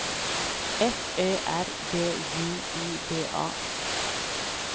F Ö R B J U D A